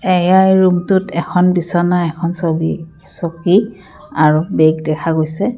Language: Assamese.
এইয়া এই ৰুমটোত এখন বিছনা এখন ছবি চকী আৰু বেগ দেখা গৈছে।